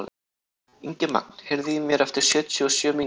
Ingimagn, heyrðu í mér eftir sjötíu og sjö mínútur.